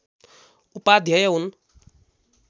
उपाध्याय हुन्